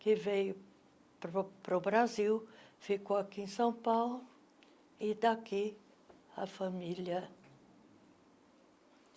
que veio para o para o Brasil, ficou aqui em São Paulo, e daqui a família.